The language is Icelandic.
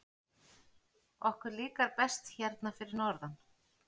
Okkur líkar best hérna fyrir norðan.